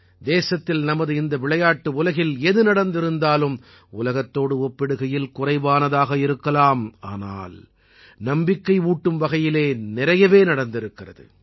தேசத்தில் நமது இந்த விளையாட்டு உலகில் எது நடந்திருந்தாலும் உலகத்தோடு ஒப்பிடுகையில் குறைவானதாக இருக்கலாம் ஆனால் நம்பிக்கை ஊட்டும் வகையில் நிறையவே நடந்திருக்கிறது